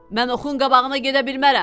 Mən oxun qabağına gedə bilmərəm.